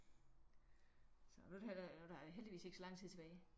Så nu er der nu er der heldigvis ikke så lang tid tilbage